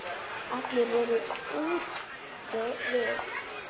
Allir voru úti við.